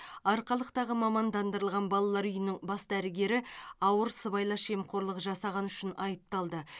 арқалықтағы мамандандырылған балалары үйінің бас дәрігері ауыр сыбайлас жемқорлық жасағаны үшін айыпталды